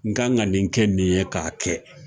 N kan ka nin kɛ nin ye k'a kɛ